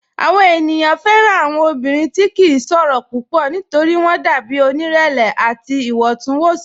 Awọn ènìyàn fẹ́ran awọn ọ̀bìnrin tí kì n ṣòro púpọ̀ nítorí wọn dàbí onírẹ̀lẹ̀ àti iwọntúnwọnsì.